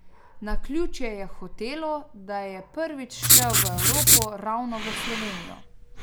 Naključje je hotelo, da je prvič šel v Evropo ravno v Slovenijo.